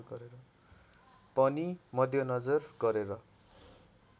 पनि मध्यनजर गरेर